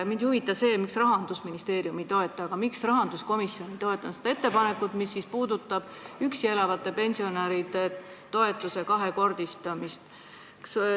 Mind ei huvita, miks Rahandusministeerium ei toeta, aga miks rahanduskomisjon ei toetanud seda ettepanekut, mis puudutab üksi elavate pensionäride toetuse kahekordistamist.